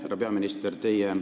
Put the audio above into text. Härra peaminister!